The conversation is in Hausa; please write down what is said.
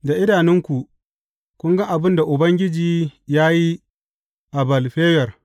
Da idanunku, kun ga abin da Ubangiji ya yi a Ba’al Feyor.